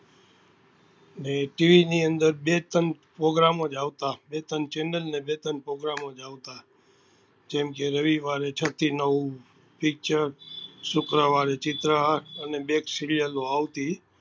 જે TV ની અંદર બે ત્રણ program ને બે ત્રણ channel ઓ જ આવતા જેમ કે રવિવારે છ થી નવ picture શુક્રવારે ચિત્ર હાર અને બે એક serial ઓ આવતી